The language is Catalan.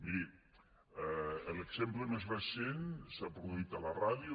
miri l’exemple més recent s’ha produït a la ràdio